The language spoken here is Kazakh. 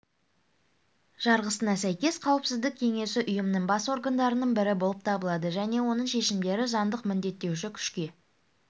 жарғысына сәйкес қауіпсіздік кеңесі ұйымның бас органдарының бірі болып табылады және оның шешімдері заңдық міндеттеуші күшке